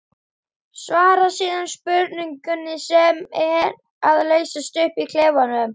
Svara síðan spurningunni sem er að leysast upp í klefanum.